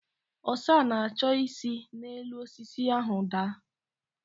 Ọsa na-achọ isi n'elu osisi ahụ daa.